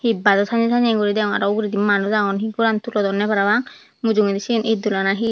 idbada sainne sainne guri degong araw uguredi manuj agon hi goran tulodonne parapang mujungedi siyen iddola na hi.